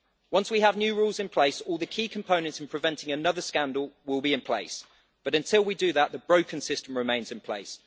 Once we have new rules in place, all the key components in preventing another scandal will be in place, but until we do that, the broken system remains in place.